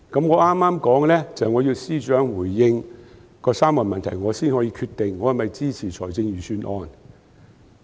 我剛才說，我要求司長回應那3個問題，我才可以決定我是否支持財政預算案。